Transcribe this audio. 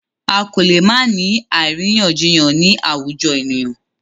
A kò lè má ni àríyànjiyàn ni àwùjọ ènìyàn.